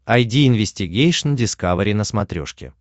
айди инвестигейшн дискавери на смотрешке